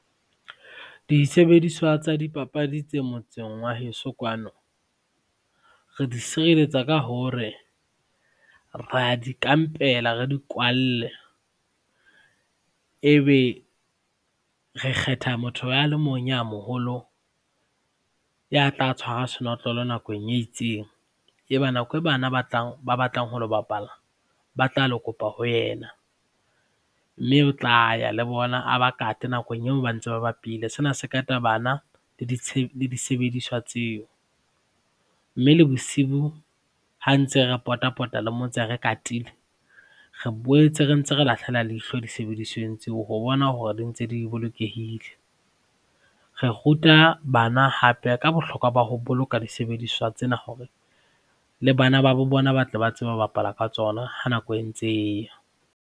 Disebediswa tsa dipapadi tse motseng wa heso kwano re di sirelletsa ka hore ra di kampela, re di kwalle ebe re kgetha motho ya le mong ya moholo ya tla tshwara senotlolo nakong e itseng, eba nako eo bana ba batlang ho lo bapala ba tla lo kopa ho yena mme o tla ya le bona a ba kate nakong eo ba ntse ba bapile. Sena se kata bana le disebediswa tseo mme le bosiu ha ntse re pota-pota le motse re katile, re boetse re ntse re lahlela leihlo disebedisweng tseo ho bona hore di ntse di bolokehile. Re ruta bana hape ka bohlokwa ba ho boloka disebediswa tsena hore le bana ba bo bona ba tle ba tsebe ho bapala ka tsona ha nako e ntse e ya.